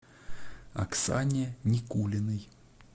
оксане никулиной